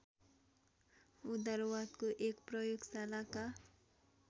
उदारवादको एक प्रयोगशालाका